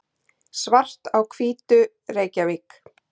Svart á Hvítu, Reykjavík.